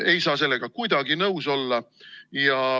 Ei saa sellega kuidagi nõus olla.